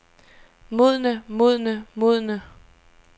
modne modne modne